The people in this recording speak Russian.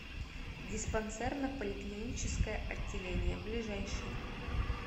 диспансерно поликлиническое отделение ближайший